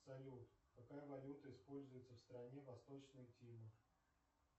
салют какая валюта используется в стране восточная тимор